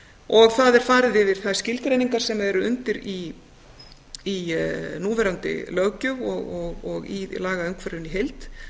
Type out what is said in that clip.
og það er farið yfir þær skilgreiningar sem eru undir í núverandi löggjöf og í lagaumhverfinu í heild